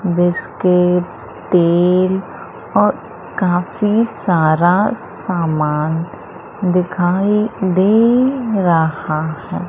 Biscuits तेल और काफी सारा सामान दिखाई दे रहा है।